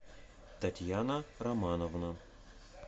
татьяна романовна